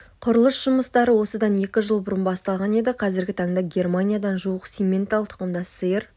құрылыс жұмыстары осыдан екі жыл бұрын басталған еді қазіргі таңда германиядан жуық симментал тұқымдас сиыр